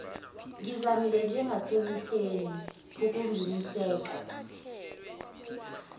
ngizamile njengasemihleni pukuginiseka